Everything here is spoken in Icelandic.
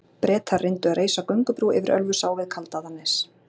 Bretar reyndu að reisa göngubrú yfir Ölfusá við Kaldaðarnes.